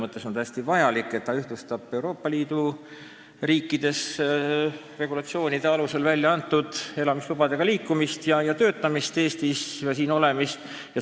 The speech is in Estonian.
Tegu on täiesti vajaliku direktiiviga, sest see ühtlustab Euroopa Liidu riikides regulatsioonide alusel väljaantud elamislubadega inimestel liikumist ja töötamist Eestis ning siin olemist.